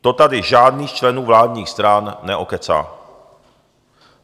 To tady žádný z členů vládních stran neokecá.